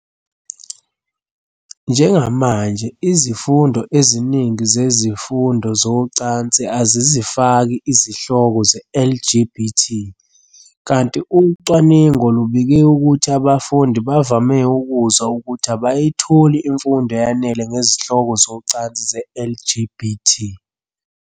Njengamanje, izifundo eziningi zezifundo zocansi azizifaki izihloko ze-LGBT, kanti ucwaningo lubike ukuthi abafundi bavame ukuzwa ukuthi abayitholi imfundo eyanele ngezihloko zocansi ze-LGBT.